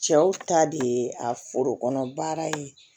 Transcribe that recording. Cɛw ta de ye a foro kɔnɔ baara ye